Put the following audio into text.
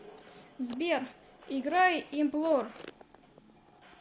сбер играй имплор